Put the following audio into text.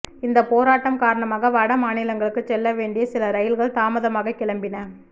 இந்த போராட்டம் காரணமாக வட மாநிலங்களுக்கு செல்லவேண்டிய சில ரயில்கள் தாமதமாக கிளம்பின